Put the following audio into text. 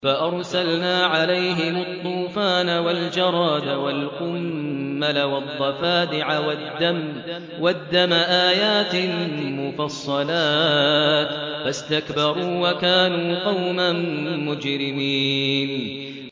فَأَرْسَلْنَا عَلَيْهِمُ الطُّوفَانَ وَالْجَرَادَ وَالْقُمَّلَ وَالضَّفَادِعَ وَالدَّمَ آيَاتٍ مُّفَصَّلَاتٍ فَاسْتَكْبَرُوا وَكَانُوا قَوْمًا مُّجْرِمِينَ